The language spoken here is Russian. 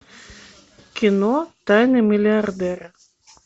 кино тайны миллиардера